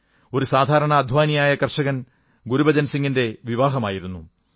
ഒരൂ സാധാരണ അദ്ധ്വാനിയായ കർഷകൻ ഗുരുബചൻ സിംഗിന്റെ വിവാഹമായിരുന്നു